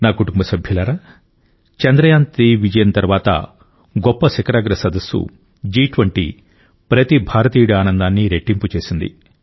నా కుటుంబ సభ్యులారా చంద్రయాన్3 విజయం తర్వాత గొప్ప శిఖరాగ్ర సదస్సు జి20 ప్రతి భారతీయుడి ఆనందాన్ని రెట్టింపు చేసింది